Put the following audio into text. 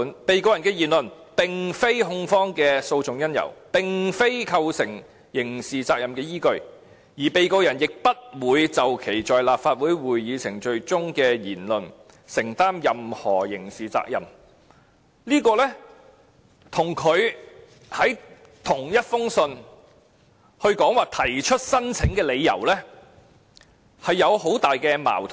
被告人的言論並非控方的訴訟因由，亦非構成刑事責任的依據，而被告人也不會就其在立法會會議程序中的言論承擔任何刑事責任"，這跟他在同一封信中說提出申請的理由之間存在很多矛盾。